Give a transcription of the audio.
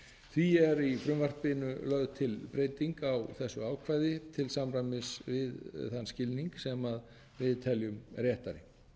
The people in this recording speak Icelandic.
því er í frumvarpinu lögð til breyting á þessu ákvæði til samræmis við þann skilning sem við teljum réttari